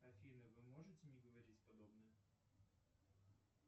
афина вы можете не говорить подобное